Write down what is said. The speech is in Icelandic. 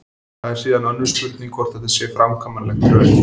Það er síðan önnur spurning hvort þetta sé framkvæmanlegt í raun.